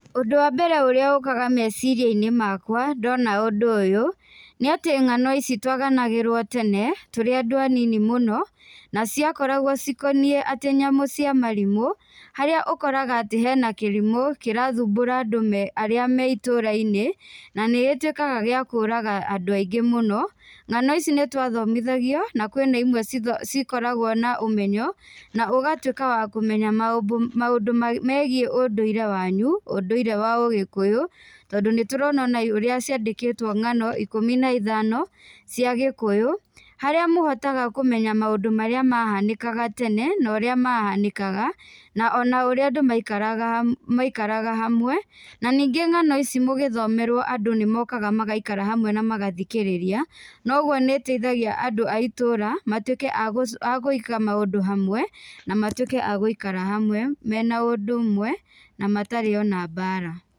Ũndũ wa mbere ũrĩa ũkaga meciriainĩ makwa ndona ũndũ ũyũ, nĩ atĩ ngano ici twaganagĩrwo tene tũrĩ andũ anini mũno, na ciakoragwo cikoniĩ atĩ nyamũ cia marimũ, harĩa ũkoraga atĩ hena kĩrimũ kĩrathumbura andũ me arĩa me itũrainĩ, na nĩgĩtuikaga gĩa kũraga andũ aingĩ mũno. Ngano ici nĩtwathomithagio na kwĩna imwe citho cikoragwo na ũmenyo, na ũgatuika wa kũmenya maũndũ maũndũ megiĩ ũndũire wanyu, ũndũire wa ũgĩkũyũ, tondũ nĩtũrona ũrĩa ciandĩkĩtwo ngano ikũmi na ithano cia gĩkũyũ, harĩa mũhotaga kũmenya maũndũ marĩa mahanĩkaga tene na ũrĩa mahanĩkaga na ũrĩa mahanĩkaga na ona ũrĩa andũ maikaraga maikaraga hamwe na nĩngĩ ngano ici mũgĩthomerwo andũ nĩmokaga magaikara hamwe na magathikĩrĩria noguo, nĩgũteithaigia andũ a itũra matuĩke agũ agũiga maũndũ hamwe na matuiĩke a gũikara hamwe mena ũndũ ũmwe na matarĩ ona mbara.